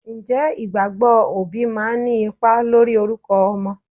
Ǹjẹ́ ìgbàgbọ́ òbí máa ń ní ipa lórí orúkọ ọmọ?